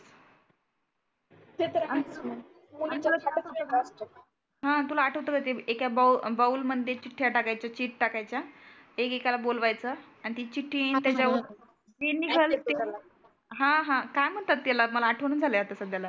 ते तर आ हं तुला आठवतं का ते एक्या बाउल बाउल मध्ये चिठ्ठ्या टाकायचे चिट टाकायच्या. एक एकाला बोलवायचंं आन ती चिठ्ठी मग त्याच्यावर हे हा हा काय म्हणतात त्याला मला आठवना झालं आता सध्याला.